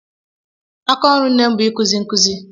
Aka ọrụ nne m bụ ikuzi nkụzi